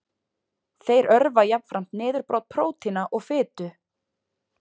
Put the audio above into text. Þeir örva jafnframt niðurbrot prótína og fitu.